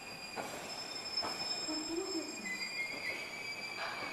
кутузове